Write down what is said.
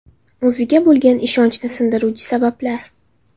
O‘ziga bo‘lgan ishonchni sindiruvchi sabablar.